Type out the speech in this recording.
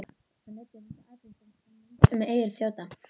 Hann lætur þessa athugasemd sem vind um eyru þjóta.